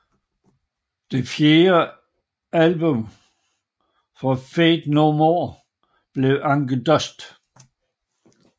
Det fjerde album fra Faith No More bliver Angel Dust